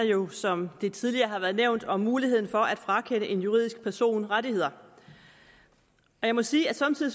jo som det tidligere er blevet nævnt om muligheden for at frakende en juridisk person rettigheder jeg må sige at somme tider